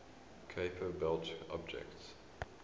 kuiper belt objects